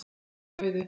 Skilum auðu.